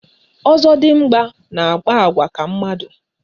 Ọzọdịmgba na-akpa àgwà ka mmadụ